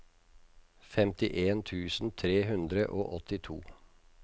femtien tusen tre hundre og åttito